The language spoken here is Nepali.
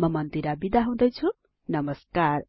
म मन्दिर बिदा हुदैछुँ नमस्कार